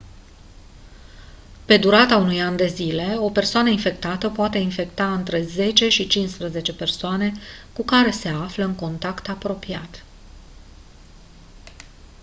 pe durata unui an de zile o persoană infectată poate infecta între 10 și 15 persoane cu care se află în contact apropiat